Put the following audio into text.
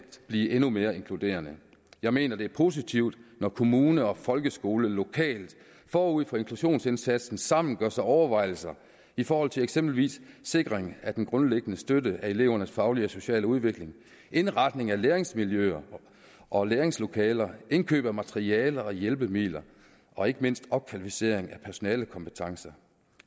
blive endnu mere inkluderende jeg mener det er positivt når kommune og folkeskole lokalt forud for inklusionsindsatsen sammen gør sig overvejelser i forhold til eksempelvis sikring af den grundliggende støtte af elevernes faglige og sociale udvikling indretning af læringsmiljøer og læringslokaler indkøb af materialer og hjælpemidler og ikke mindst opkvalificering af personalekompetencer